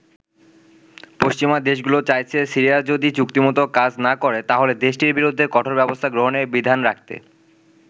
পশ্চিমা দেশগুলো চাইছে, সিরিয়া যদি চুক্তিমতো কাজ না করে তাহলে দেশটির বিরুদ্ধে কঠোর ব্যবস্থা গ্রহণের বিধান রাখতে।